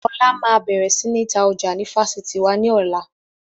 Ọlá máa bẹ̀rẹ̀ sini tajà ni Fásitì wá ní ọ̀la